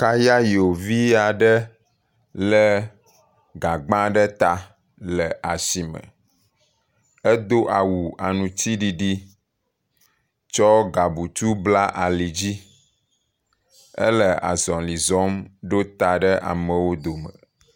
Kayayo via ɖe lé gagbã ɖe ta le asime, edo awu aŋtsiɖiɖi tsɔ gabutu bla ali dzi, ele azɔli zɔm ɖo ta ɖe amewo dome.